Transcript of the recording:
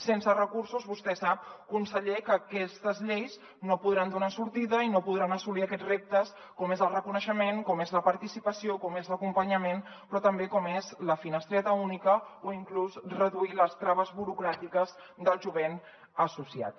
sense recursos vostè sap conseller que aquestes lleis no podran donar sortida i no podran assolir aquests reptes com és el reconeixement com és la participació com és l’acompanyament però també com és la finestreta única o inclús reduir les traves burocràtiques del jovent associat